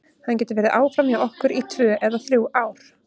Hann getur verið áfram hjá okkur í tvö eða þrjú ár.